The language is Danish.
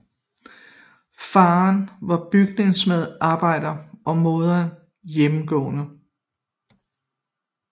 Faren var bygningsarbejder og moderen hjemmegående